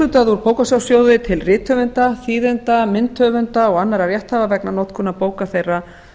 lög um bókasafnssjóði til rithöfunda þýðenda myndhöfunda og annarra rétthafa vegna notkunar bóka þeirra